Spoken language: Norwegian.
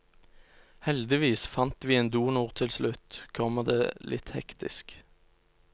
Heldigvis fant vi en donor til slutt, kommer det litt hektisk.